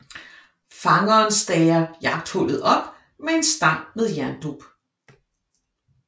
Fangeren stager jagthullet op med en stang med jerndup